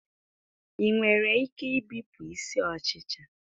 Ị nwere ike ibipụ isi ọchịcha